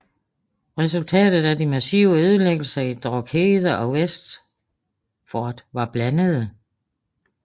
Resultatet af de massive ødelæggelser i Drogheda og Wexford var blandede